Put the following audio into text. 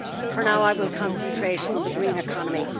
For now, I will concentrate on the green economy.